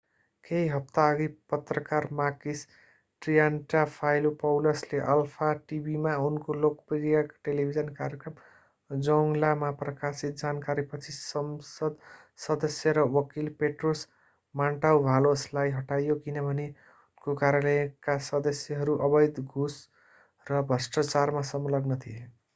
केही हप्ताअघि पत्रकार makis triantafylopoulos ले अल्फा टिभीमा उनको लोकप्रिय टेलिभिजन कार्यक्रम zoungla मा प्रकाशित जानकारीपछि संसद सदस्य र वकील petros mantouvalos लाई हटाइयो किनभने उनको कार्यालयका सदस्यहरू अवैध घूस र भ्रष्टाचारमा संलग्न थिए